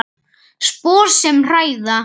Spor sem hræða.